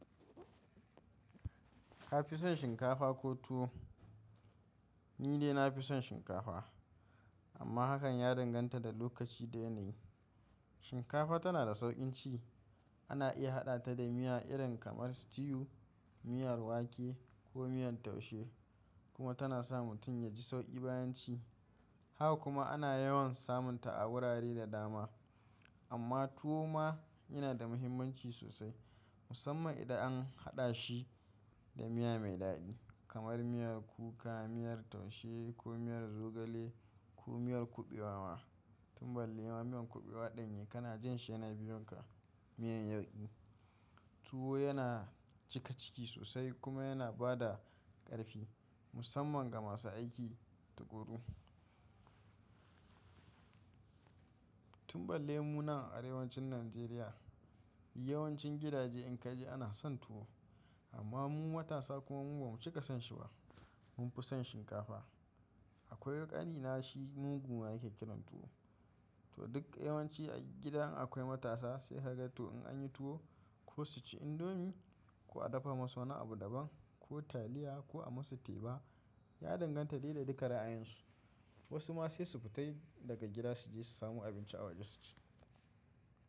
Ka fi son shinkafa ko tuwo? Ni dai na fi son shinkafa amma hakan ya danganta da lokaci da yanayi. Shinkafa tana da sauƙin ci. Ana iya haɗa ta da miya irin kamar stew, miyar wake ko miyan taushe kuma tana sa mutum ya ji sauƙi bayan ci. Haka kuma ana yawan samun ta a wurare da dama. Amma tuwo ma yana da muhimmanci sosai musamman idan an haɗa shi da miya mai daɗi kamar miyar kuka, miyar taushe ko miyar zogale ko miyar kuɓewa ma. Tun ballai ma miyan kuɓewa ɗanye kana jin shi yana biyunka miyan yauƙi. Tuwo yana cika ciki sosai kuma yana ba da ƙarfi musamman ga masu aiki takuru. Tun ballai muna a arewacin Najeriya yawancin gidaje in ka je ana son tuwo amma mu matasa kuma ba mu cika son shi ba. Mun fi son shinkafa. Akwai ƙanina shi mugu ma yake kiran tuwo. To duk yawanci a gida in akwai matasa sai haka to in an yi tuwo ko su ci indomi ko a dafa masu wani abu daban ko taliya ko a masu teba, ya danganta daida duka ra'ayinsu. Wasu ma sai su fita yi daga gida su je su samu abinci a waje su ci.